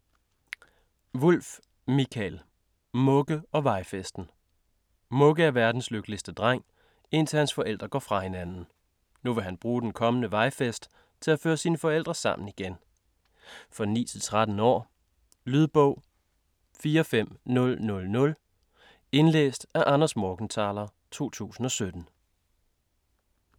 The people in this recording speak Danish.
Wulff, Mikael: Mugge & vejfesten Mugge er verdens lykkeligste dreng, indtil hans forældre går fra hinanden. Nu vil han bruge den kommende vejfest til at føre sine forældre sammen igen. For 9-13 år. Lydbog 45000 Indlæst af Anders Morgenthaler, 2017.